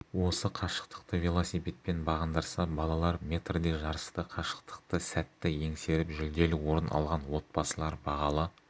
осы қашықтықты велосипедпен бағындырса балалар метрде жарысты қашықтықты сәтті еңсеріп жүлделі орын алған отбасылар бағалы